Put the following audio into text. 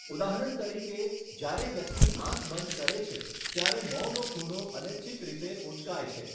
ઉદાહરણ તરીકે, જ્યારે વ્યક્તિ આંખ બંધ કરે છે, ત્યારે મોંનો ખૂણો અનૈચ્છિક રીતે ઉંચકાય છે.